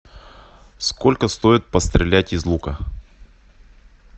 сколько стоит пострелять из лука